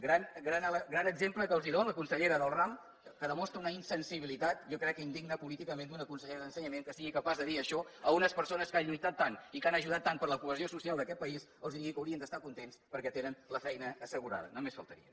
gran exemple que els dóna la consellera del ram que demostra una insensibilitat jo crec que indigna políticament d’una consellera d’ensenyament que sigui capaç de dir això a unes persones que han lluitat tant i que han ajudat tant a la cohesió social d’aquest país que els digui que haurien d’estar contents perquè tenen la feina assegurada només faltaria